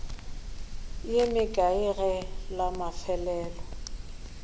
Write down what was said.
ye mekae ge la mafelelo